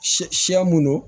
Sɛ minnu